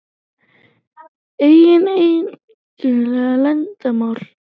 Eiga engin leyndarmál.